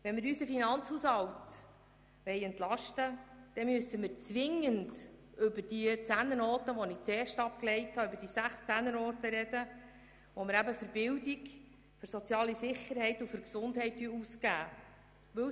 Wenn wir unseren Finanzhaushalt entlasten wollen, dann müssen wir zwingend über die sechs Zehnernoten reden, die wir für Bildung, soziale Sicherheit und Gesundheit ausgeben.